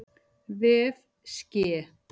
vef SKE.